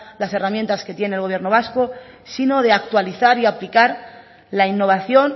las herramientas que tiene el gobierno vasco sino de actualizar y aplicar la innovación